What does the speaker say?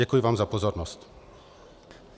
Děkuji vám za pozornost.